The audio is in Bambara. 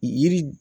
Yiri